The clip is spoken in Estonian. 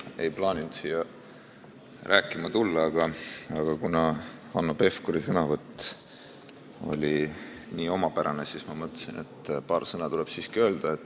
Ma ei plaaninud siia rääkima tulla, aga kuna Hanno Pevkuri sõnavõtt oli nii omapärane, siis ma mõtlesin, et paar sõna tuleb siiski öelda.